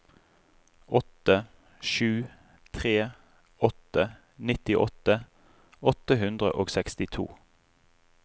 åtte sju tre åtte nittiåtte åtte hundre og sekstito